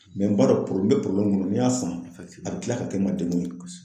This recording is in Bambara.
n b'a dɔn n bɛ kɔnɔ n'i y'a san a bɛ tila ka kɛ n ma degun ye